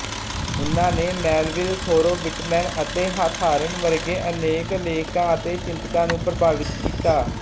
ਉਨ੍ਹਾਂ ਨੇ Melville Thoreau Whitman ਅਤੇ ਹਾਥਾਰਨ ਵਰਗੇ ਅਨੇਕ ਲੇਖਕਾਂ ਅਤੇ ਚਿੰਤਕਾਂ ਨੂੰ ਪ੍ਰਭਾਵਿਤ ਕੀਤਾ